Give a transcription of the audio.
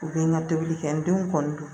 U bɛ n ka tobili kɛ n denw kɔni don